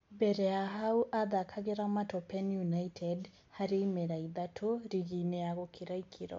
Mbere ya hau athakagĩra Matopeni United harĩ imera ithatũ rigi-inĩ ya gũkĩra ikĩro.